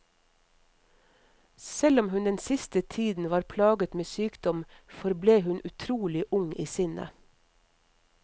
Selv om hun den siste tiden var plaget med sykdom, forble hun utrolig ung i sinnet.